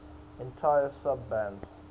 entire sub bands